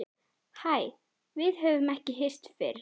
Hæ, við höfum ekki hist fyrr.